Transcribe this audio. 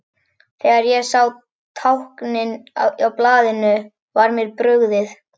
Þegar ég sá táknin á blaðinu var mér brugðið.